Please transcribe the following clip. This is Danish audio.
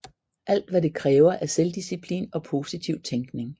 Alt hvad det kræver er selvdisciplin og positiv tænkning